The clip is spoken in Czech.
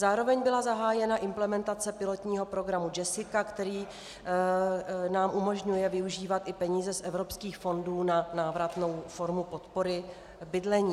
Zároveň byla zahájena implementace pilotního programu Jessica, který nám umožňuje využívat i peníze z evropských fondů na návratnou formu podpory bydlení.